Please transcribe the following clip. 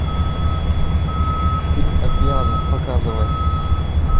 фильм океаны показывай